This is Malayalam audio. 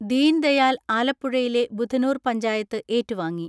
ദീൻദയാൽ ആലപ്പുഴയിലെ ബുധനൂർ പഞ്ചായത്ത് ഏറ്റുവാങ്ങി.